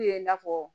U ye i n'a fɔ